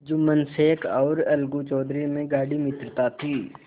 जुम्मन शेख और अलगू चौधरी में गाढ़ी मित्रता थी